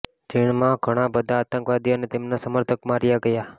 જેમાં ઘણા બધા આતંકવાદી અને તેમના સમર્થક માર્યા ગયા